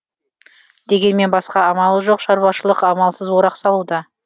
дегенмен басқа амалы жоқ шаруашылық амалсыз орақ салуда